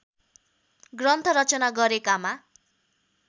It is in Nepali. ग्रन्थ रचना गरेकामा